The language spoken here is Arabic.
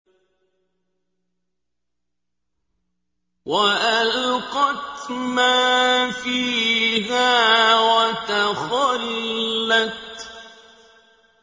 وَأَلْقَتْ مَا فِيهَا وَتَخَلَّتْ